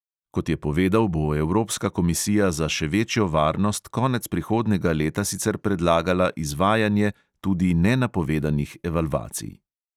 Kot je povedal, bo evropska komisija za še večjo varnost konec prihodnjega leta sicer predlagala izvajanje tudi nenapovedanih evalvacij.